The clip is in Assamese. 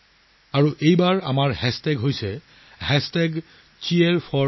আৰু এইবাৰ Cheer4Bharat কৰিবলা নাপাহৰিব